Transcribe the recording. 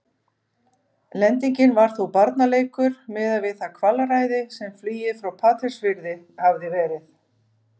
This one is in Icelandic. Lendingin var þó barnaleikur miðað við það kvalræði sem flugið frá Patreksfirði hafði verið.